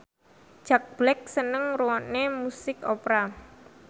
Jack Black seneng ngrungokne musik opera